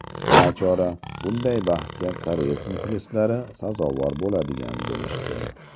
Nachora, bunday baxtga koreys muxlislari sazovor bo‘ladigan bo‘lishdi.